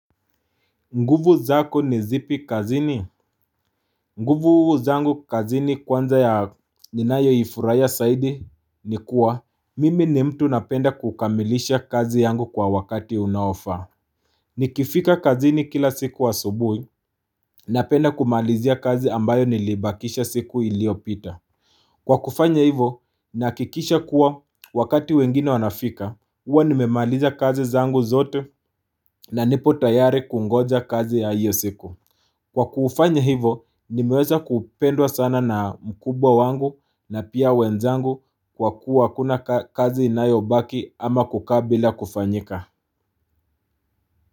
Nguvu zako ni zipi kazini? Nguvu zangu kazini kwanza ya ninayo ifurahia zaidi ni kuwa mimi ni mtu napenda kukamilisha kazi yangu kwa wakati unaofaa. Nikifika kazini kila siku asubuhi napenda kumalizia kazi ambayo niliibakisha siku iliopita. Kwa kufanya hivyo ninahakikisha kuwa wakati wengine wanafika huwa nimemaliza kazi zangu zote na nipo tayari kungoja kazi ya hiyo siku. Kwa kufanya hivyo, nimeweza kupendwa sana na mkubwa wangu na pia wenzangu kwa kuwa hakuna kazi inayobaki ama kukaa bila kufanyika.